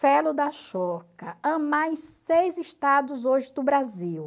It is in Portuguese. AMAR em seis estados hoje do Brasil.